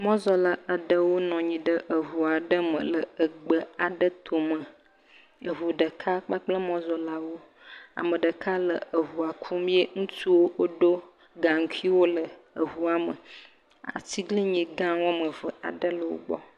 Mɔzɔla aɖewo nɔ anyi ɖe eŋu aɖe me le egbe aɖe tome. Eŋu ɖeka kpakple mɔzɔlawo. Ame ɖeka le eŋua kum ye ŋutsuwo woɖo gaŋkuiwo le eŋua me. Atiglinyi gã woame ve aɖe le wogbɔ.